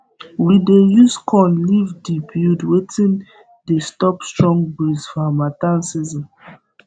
we dey use corn leave de build wetin de stop strong breeze for hamattan season